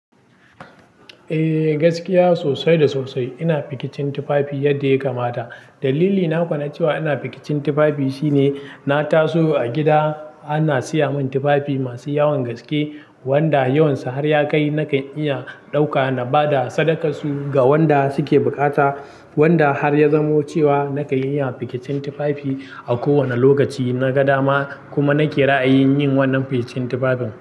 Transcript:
Eh gaskiya sosai da sosai ina zaɓin tufafi yadda ya kamata. Dalili na kuwa na cewa ina zaɓin tufafi shine, na taso a gida ana siya min tufafi masu yawan gaske wanda yawan su har ya kai nakan iya ɗauka na bada sadakar su ga waɗanda suke bukata. Wanda har ya zamo cewa nakan iya zaben tufafi a kowane lokaci na ga dama kuma nake ra'ayin yin wannan zaɓen tufafin.